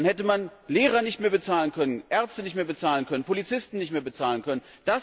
Dann hätte man Lehrer nicht mehr bezahlen können, Ärzte nicht mehr bezahlen können, Polizisten nicht mehr bezahlen können.